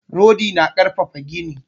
Rodi na ƙarfafa gini.